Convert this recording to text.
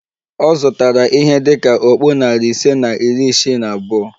Ọ zụtara ihe dị ka okpu narị ise na iri isii na abụọ